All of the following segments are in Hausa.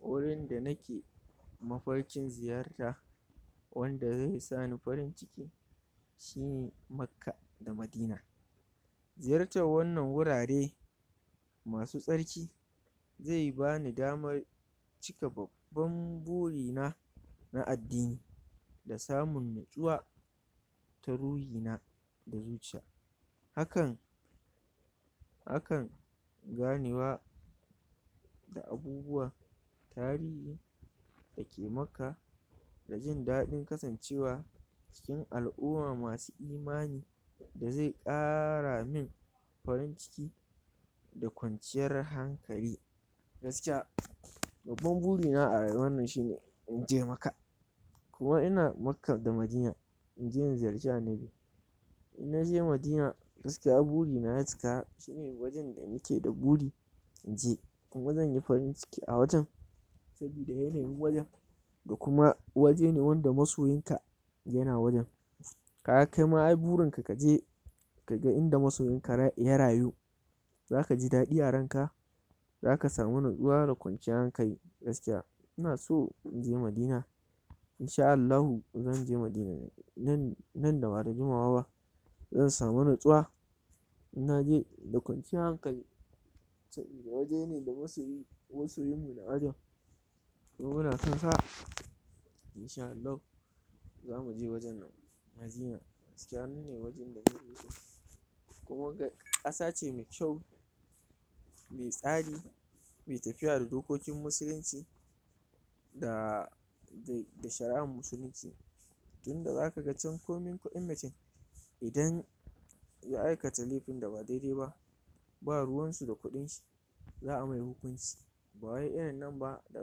Wurin da nake mafarkin ziyarta wanda ze sani farin ciki shine Makka da Madina, ziyartar wannan wurare masu tsarki ze bani damar cika babban burina na addini, da samun nutsuwa ta ruhina da zuciya, hakan hakan ganewa da abubuwan tarihi dake Makka, da jin daɗin kasancewa cikin al'uma masu imani da ze ƙara min farin ciki da kwanciyar hankali, gaskiya babban burina a rayuwannan shine inje Maka, ko ina Maka da Madina inje in ziyarci Annabi in naje Madina gaskiya burina ya cika shine wajen da nike da buri in je, kuma zanyi farin ciki a wajen sabida yanayin wajen da kuma wajene wanda masoyinka yana wurin, kaga kaima ai burinka kaje kaga inda masoyinka ra... ya rayu zaka ji daɗi a ranka, zaka samu natsuwa da kwanciyar hankali gaskiya, ina so inje Madina in sha Allahu zan je Madina nan nan da bada jimawa ba, zan samu natsuwa in naje da kwanciyar hankali, sabida wajene da masoyi masoyinmmu na wajen kuma muna san sa, in sha Allahu zamu je wajen nan gaskiya nine wajen ƙasa ce me kyau me tsari me tafiya da dokokin musulinci da da da shara'a musulunci, tinda zaka ga can komin kuɗin mutin idan ya iakata lefin da ba daidai ba ba ruwansu da kuɗinshi za'a mai hukunci ba wai irin nan ba da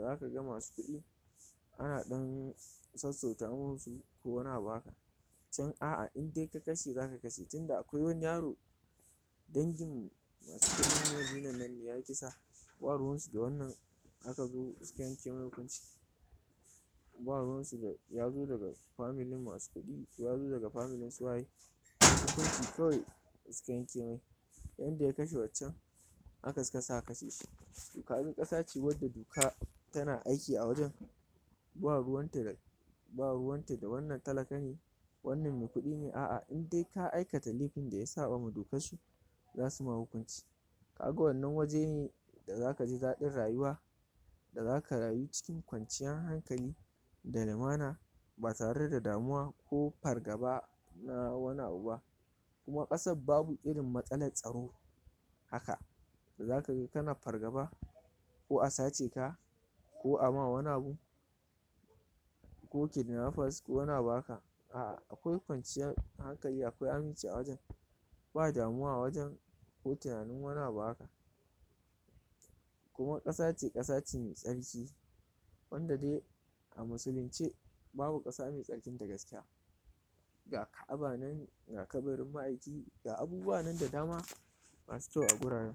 zaka ga masu kuɗi ana ɗan sassauta masu ko wani abu haka, can a'a inde ka kashe zaka kashe tinda akwai wani yaro dangin masu kuɗin madinan nan ne ya kisa ba ruwansu da wannan aka zo sika yanke mai hukunci ba ruwansu da yazo daga familin masu kuɗi yazo daga familin su waye hukunci kawai sika yanke mai yanda ya kashe waccan haka suka sa aka kashe sh, to kaga ƙasa ce wadda doka tana aiki a wajen ba ruwanta da ba ruwanta da wannan talaka ne wannan me kuɗi ne a'a inde ka aikata laifin da ya saɓama dokassu zasu ma hukunci kaga wannan waje ne da zaka ji daɗin rayuwa, da zaka rayu cikin kwanciyah hankali da lumana, ba tare da damuwa ko fargaba na wani abu ba kuma kasab babu irin matsalatstsaro haka, da zakaga kana fargaba ko a sace ka ko ama wani abu, ko kidnappers ko wani abu haka, a'a akwai kwanciyah hankali akwai aminci a wajen ba damuwa a wajen ko tinanin wani abu haka kuma ƙasace ƙasace me tsarki wanda de a musulunce babu ƙasa me tsarkinta gaskiya, ga ka'aba nan ga kabarin ma'aiki, ga abubuwa nan da dama masu kyau a guraren.